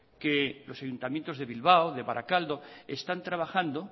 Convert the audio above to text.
que los ayuntamientos de bilbao de barakaldo están trabajando